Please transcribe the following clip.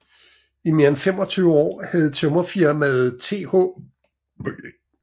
I mere end 25 år havde Tømrerfirmaet Th